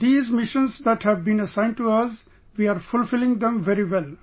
And these missions that have been assigned to us we are fulfilling them very well